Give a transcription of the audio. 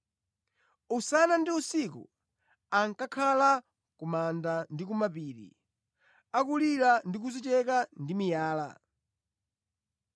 Usana ndi usiku ankakhala ku manda ndi kumapiri, akulira ndi kudzicheka ndi miyala.